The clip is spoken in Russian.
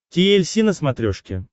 ти эль си на смотрешке